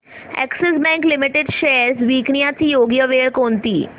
Axis Bank limited shares विकण्याची योग्य वेळ कोणती